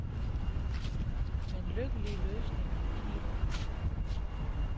Men lykkelige løsninger kniber det med.